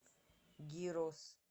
гирос